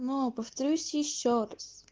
но повторюсь ещё раз